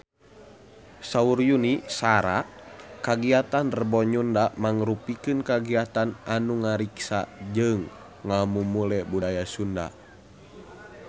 Saur Yuni Shara kagiatan Rebo Nyunda mangrupikeun kagiatan anu ngariksa jeung ngamumule budaya Sunda